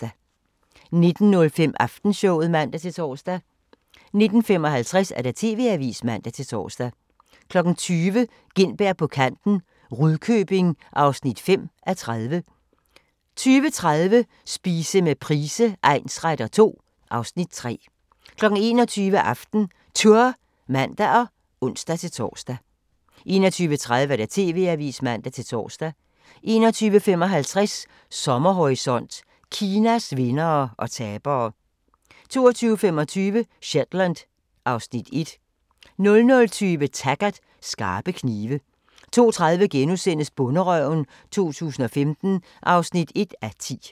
19:05: Aftenshowet (man-tor) 19:55: TV-avisen (man-tor) 20:00: Gintberg på kanten – Rudkøbing (5:30) 20:30: Spise med Price egnsretter II (Afs. 3) 21:00: AftenTour (man og ons-tor) 21:30: TV-avisen (man-tor) 21:55: Sommerhorisont: Kinas vindere og tabere 22:25: Shetland (Afs. 1) 00:20: Taggart: Skarpe knive 02:30: Bonderøven 2015 (1:10)*